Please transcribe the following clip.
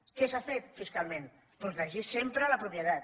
què s’ha fet fiscalment protegir sempre la propietat